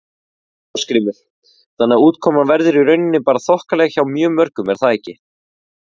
Ásgrímur: Þannig að útkoman verður í rauninni bara þokkaleg hjá mjög mörgum er það ekki?